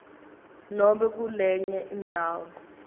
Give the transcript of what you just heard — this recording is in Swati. nobe kulenye indzawo